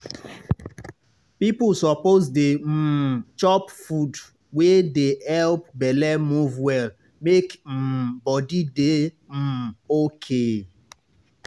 people suppose dey um chop food wey dey help belle move well make um body dey um okay.